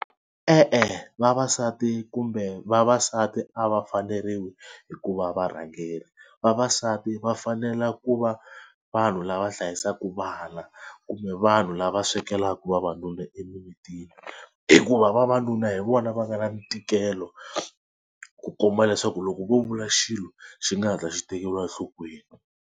E-e vavasati kumbe vavasati a va faneriwi hi ku va varhangeri. Vavasati va fanele ku va vanhu lava hlayisaka vana kumbe vanhu lava swekelaka vavanuna emimitini hikuva vavanuna hi vona va nga na ntikelo ku komba leswaku loko vo vula xilo xi nga hatla xi tekeriwa enhlokweni.